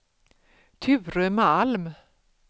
Ture Malm